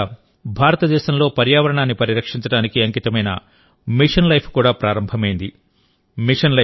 కొద్ది రోజుల కిందట భారతదేశంలోపర్యావరణాన్ని పరిరక్షించడానికి అంకితమైన మిషన్ లైఫ్ కూడా ప్రారంభమైంది